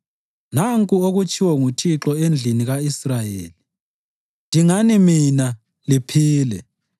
Nanku okutshiwo nguThixo endlini ka-Israyeli: “Dingani mina, liphile;